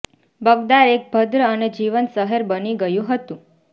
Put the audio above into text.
બગદાર એક ભદ્ર અને જીવંત શહેર બની ગયું હતું